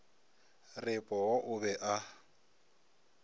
re poo o be a